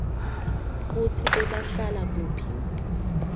kutsi bebahlala kuphi